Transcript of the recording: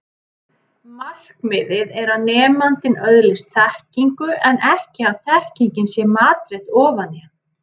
Markmiðið er að nemandinn öðlist þekkingu en ekki að þekkingin sé matreidd ofan í hann.